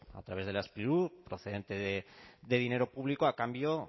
a través de la sprilur procedente de dinero público a cambio